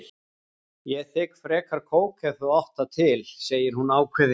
Ég þigg frekar kók ef þú átt það til, segir hún ákveðin.